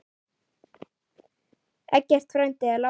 Eggert frændi er látinn.